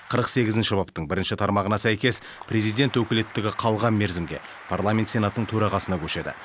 қырық сегізінші баптың бірінші тармағына сәйкес президент өкілеттігі қалған мерзімге парламент сенатының төрағасына көшеді